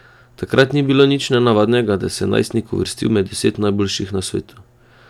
Takrat ni bilo nič nenavadnega, da se je najstnik uvrstil med deset najboljših na svetu.